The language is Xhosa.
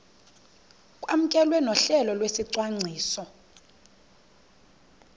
kwamkelwe nohlelo lwesicwangciso